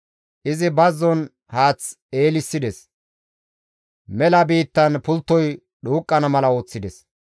Izi bazzon haath eelissides mela biittan pulttoy dhuuqqana mala ooththides.